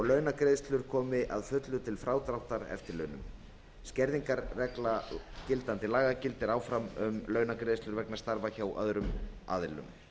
launagreiðslur komi að fullu til frádráttar eftirlaunum skerðingarregla gildandi laga gildir áfram um launagreiðslur vegna starfa hjá öðrum aðilum